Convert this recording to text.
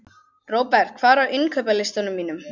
Robert, hvað er á innkaupalistanum mínum?